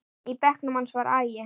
Í bekknum hans var agi.